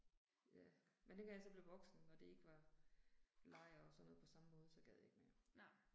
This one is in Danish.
Ja. Men dengang jeg så blev voksen og det ikke var lejr og sådan noget på sammen måde så gad jeg ikke mere